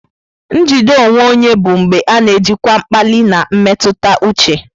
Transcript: Njide onwe onye bụ mgbe a na-ejikwa mkpali na mmetụta uche.